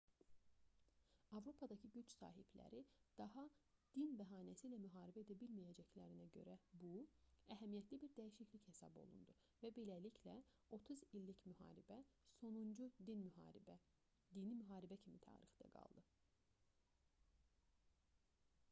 avropadakı güc sahibləri daha din bəhanəsi ilə müharibə edə bilməyəcəklərinə görə bu əhəmiyyətli bir dəyişiklik hesab olundu və beləliklə otuz i̇llik müharibə sonuncu dini müharibə kimi tarixdə qaldı